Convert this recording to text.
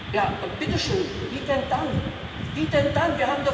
Ja, bitte schön, wie denn dann?